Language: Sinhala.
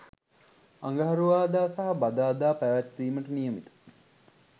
අඟහරුවාදා සහ බදාදා පැවැත්වීමට නියමිත